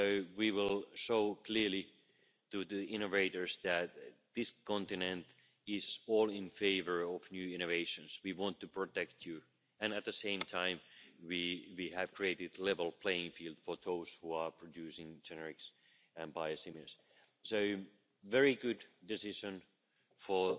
We will show the innovators clearly that this continent is all in favour of new innovations. We want to protect you, and at the same time we have created a level playing field for those who are producing generics and biosimilars. So this is a very good decision for